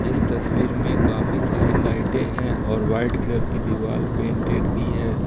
इस तस्वीर में काफी सारी लाइटे हैं और वाइट कलर की दीवार पेंटेड भी है।